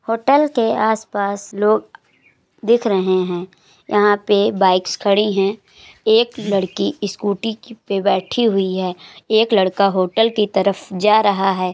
Hotel के आसपास लोग दिख रहे है यहाँ पे बाइक्स खड़ी हैं एक लड़की इ-स्कूटी-की पे बैठी हुई है एक लड़का होटल की तरफ जा रहा है।